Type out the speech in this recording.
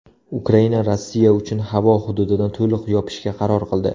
Ukraina Rossiya uchun havo hududini to‘liq yopishga qaror qildi.